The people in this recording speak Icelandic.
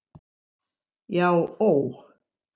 Já ó.